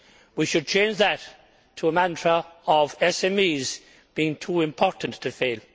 We should change that to a mantra of SMEs being too important to fail.